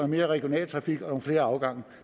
mere regional trafik og nogle flere afgange